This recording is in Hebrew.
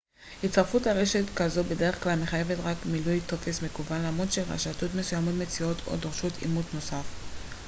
הצטרפות לרשת כזו בדרך כלל מחייבת רק מילוי טופס מקוון למרות שרשתות מסוימות מציעות או דורשות אימות נוסף